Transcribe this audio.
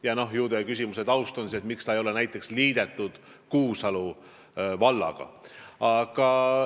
Ju on teie küsimuse taust see, et miks teda ei ole näiteks Kuusalu vallaga liidetud.